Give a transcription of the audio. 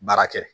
Baara kɛ